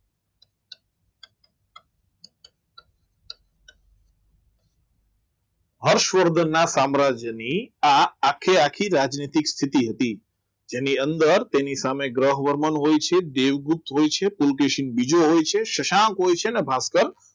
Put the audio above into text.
હર્ષવર્ધનના સામ્રાજ્યની આ આખે આખી રાતિક સ્થિતિ હતી જેની અંદર તેની સામે ગ્રહવર્ધન હોય છે દેવગુપ્ત હોય છે પુલકેશી અને બીજો હોય છે શશાંક હોય છે અને ભાસ્કર